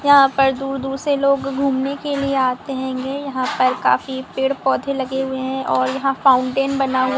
यहाँ पर दूर दूर से लोग घूमने के लिए आते हैगे यहाँ पर काफी पेड़ पौधे लगे हुए है और यहाँ फाउंटेन बना हुआ --